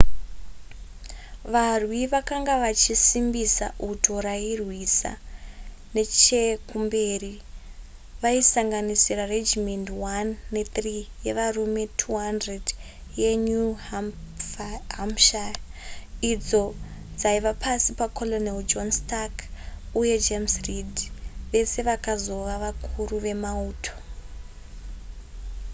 varwi vakanga vachisimbisa uto rairwisa nechekumberi vaisanganisira regimendi 1 ne3 yevarume 200 yenew hampshire idzo dzaiva pasi pacolonel john stark uye james reed vese vakazova vakuru vemauto